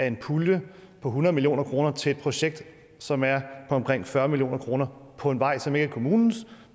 en pulje på hundrede million kroner til et projekt som er på omkring fyrre million kroner for en vej som ikke er kommunens